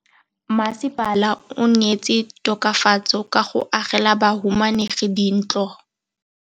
Mmasepala o neetse tokafatsô ka go agela bahumanegi dintlo.